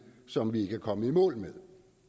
som vi ikke er kommet i mål med